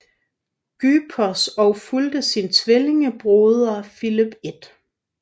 Grypos og fulgte sin tvillingebroder Filip 1